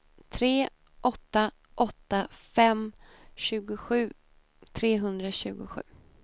tre åtta åtta fem tjugosju trehundratjugosju